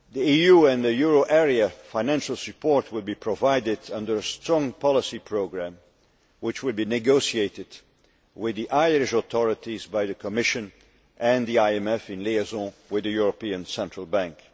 EU and euro area financial support will be provided under a strong policy programme which will be negotiated with the Irish authorities by the Commission and the IMF, in liaison with the European Central Bank.